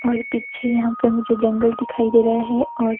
और पीछे यहां पे मुझे जंगल दिखाई दे रहा है और--